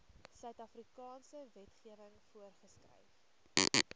suidafrikaanse wetgewing voorgeskryf